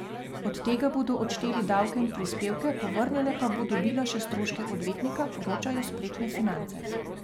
Od tega bodo odšteli davke in prispevke, povrnjene pa bo dobila še stroške odvetnika, poročajo spletne Finance.